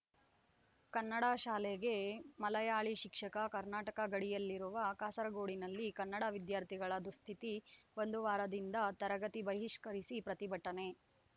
ಕನ್ನಡ ಶಾಲೆಗೆ ಮಲಯಾಳಿ ಶಿಕ್ಷಕ ಕರ್ನಾಟಕ ಗಡಿಯಲ್ಲಿರುವ ಕಾಸರಗೋಡಿನಲ್ಲಿ ಕನ್ನಡ ವಿದ್ಯಾರ್ಥಿಗಳ ದುಸ್ಥಿತಿ ಒಂದು ವಾರದಿಂದ ತರಗತಿ ಬಹಿಷ್ಕರಿಸಿ ಪ್ರತಿಭಟನೆ